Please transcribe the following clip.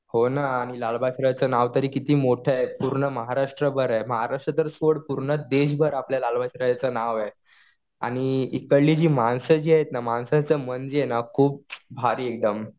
हो ना आणि लालबागच्या राजाचं नाव तरी किती मोठं आहे. पूर्ण महाराष्ट्र्भर आहे. महाराष्ट्र सोड पूर्ण देशभर आपल्या लालबागच्या राजाचं नाव आहे. आणि इकडली जी माणसं जी आहेत ना माणसांचं मन जे आहे ना खूप भारी आहे एकदम.